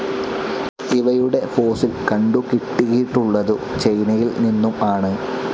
ഇവയുടെ ഫോസിൽ കണ്ടു കിട്ടിയിട്ടുള്ളതു ചൈനയിൽ നിന്നും ആണ്.